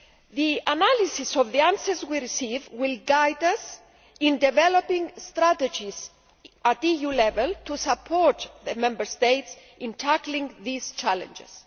The analysis of the answers we receive will guide us in developing strategies at EU level to support the Member States in tackling these challenges.